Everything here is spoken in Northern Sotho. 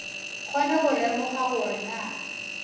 kgone go lemoga gore na